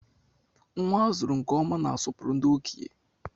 Nnwa a zụrụ nke ọma na-asopuru ndị okenye.